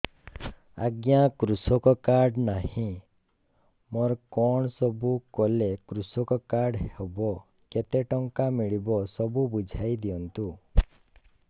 ଆଜ୍ଞା କୃଷକ କାର୍ଡ ନାହିଁ ମୋର କଣ ସବୁ କଲେ କୃଷକ କାର୍ଡ ହବ କେତେ ଟଙ୍କା ମିଳିବ ସବୁ ବୁଝାଇଦିଅନ୍ତୁ